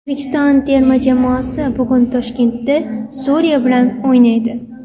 O‘zbekiston terma jamoasi bugun Toshkentda Suriya bilan o‘ynaydi.